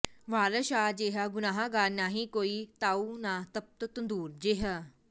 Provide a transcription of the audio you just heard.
ਵਾਰਸ ਸ਼ਾਹ ਜੇਹਾ ਗੁਨਾਹਗਾਰ ਨਾਹੀਂ ਕੋਈ ਤਾਓ ਨਾ ਤਪਤ ਤੰਦੂਰ ਜਿਹਾ